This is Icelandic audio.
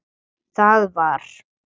Það var.